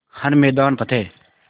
हर मैदान फ़तेह